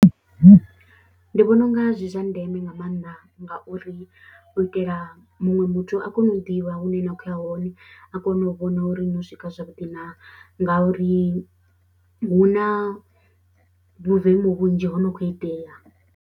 Ndi vhona u nga zwi zwa ndeme nga maanḓa ngauri u itela muṅwe muthu a kone u ḓivha hune na khou ya hone, a kone u vhona uri no swika zwavhuḓi na ngauri hu na vhuvemu vhunzhi ho no khou itea.